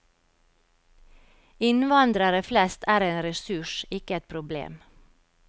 Innvandrere flest er en ressurs, ikke et problem.